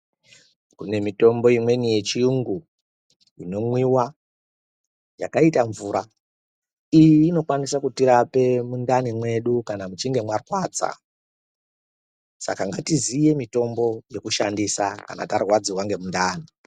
Kune mitombo imweni yechiyungu inomwiwa yakaita mvura. Iyi inokwanisa kutirape mundani mwedu kana muchinge mwarwadza. Saka ngatiziye mitombo yekushandisa kana tarwadziwa ngemundani.